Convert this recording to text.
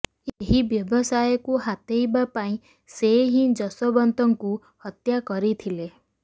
ଏହି ବ୍ୟବସାୟକୁ ହାତେଇବା ପାଇଁ ସେ ହିଁ ଯଶୋବନ୍ତଙ୍କୁ ହତ୍ୟା କରିଥିଲା